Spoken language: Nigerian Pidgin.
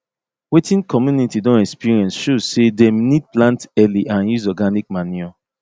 wetin community don experience show say dem need plant early and use organic manure